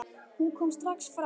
Hún kom strax fram.